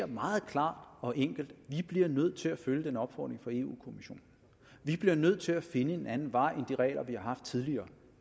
meget klart og enkelt må at vi bliver nødt til at følge den opfordring fra europa kommissionen vi bliver nødt til at finde en anden vej end de regler vi har haft tidligere